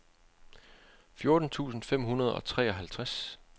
fjorten tusind fem hundrede og treoghalvtreds